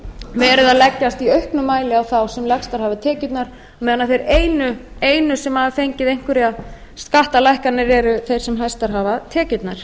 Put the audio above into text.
verið að leggjast í auknum mæli á þá sem lægstar hafa tekjurnar meðan þeir einu sem hafa fengið einhverjar skattalækkanir eru þeir sem mestar hafa tekjurnar